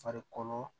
Farikolo